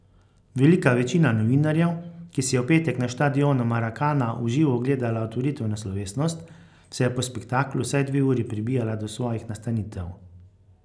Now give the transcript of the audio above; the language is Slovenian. Velika večina novinarjev, ki si je v petek na štadionu Maracana v živo ogledala otvoritveno slovesnost, se je po spektaklu vsaj dve uri prebijala do svojih nastanitev.